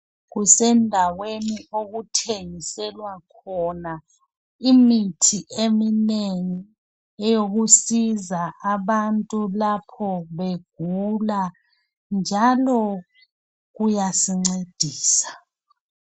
Kusendaweni okuthengiselwa khona imithi eminengi eyokusiza abantu lapho begula njalo kuyasincedisa.